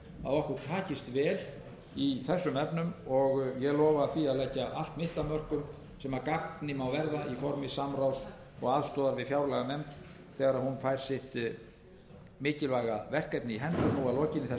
okkur takist vel í þessum efnum og ég lofa því að leggja allt mitt af mörkum sem að gagni má verða í formi samráðs og aðstoðar við fjárlaganefnd þegar hún fær sitt mikilvæga verkefni í hendur nú að lokinni þessari